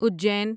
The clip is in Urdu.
اجین